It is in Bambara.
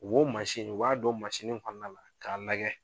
Wo u b'a don mun kɔnɔna la k'a lagɛ